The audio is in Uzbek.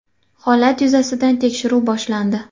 Holat yuzasidan tekshiruv boshlandi.